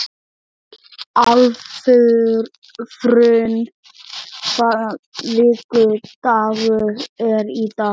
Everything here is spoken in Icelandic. Álfrún, hvaða vikudagur er í dag?